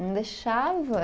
Não deixava.